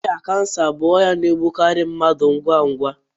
Ọrịa kansa bụ ọrịa na-egbukarị mmadụ ngwa ngwa.